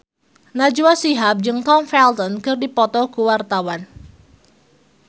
Najwa Shihab jeung Tom Felton keur dipoto ku wartawan